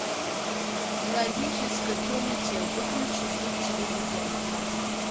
в родительской комнате выключи звук телевизора